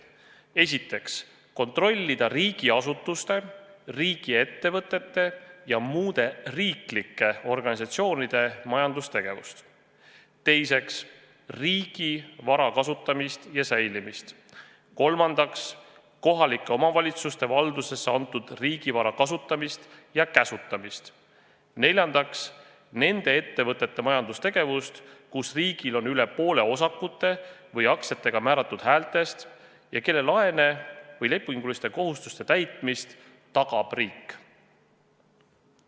Esiteks, kontrollida riigiasutuste, riigiettevõtete ja muude riiklike organisatsioonide majandustegevust; teiseks, riigi vara kasutamist ja säilimist; kolmandaks, kohalike omavalitsuste valdusesse antud riigivara kasutamist ja käsutamist; neljandaks, nende ettevõtete majandustegevust, kus riigil on üle poole osakute või aktsiatega määratud häältest ja kelle laene või lepinguliste kohustuste täitmist tagab riik.